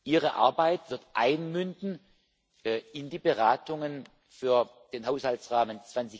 Ihre Arbeit wird einmünden in die Beratungen für den Haushaltsrahmen